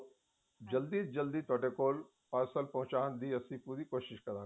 ਜਲਦੀ ਤੋਂ ਜਲਦੀ ਤੁਹਾਡੇ ਕੋਲ ਅਸੀਂ parcel ਪਹੁੰਚਾਉਣ ਦੀ ਕੋਸ਼ਿਸ਼ ਕਰਾਂਗੇ